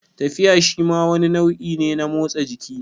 Tafiya shima wani nau'i ne na motsa jiki